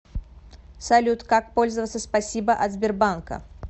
салют как пользоваться спасибо от сбербанка